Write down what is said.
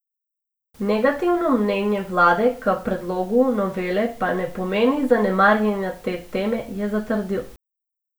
Negativno mnenje vlade k predlogu novele pa ne pomeni zanemarjanja te teme, je zatrdil.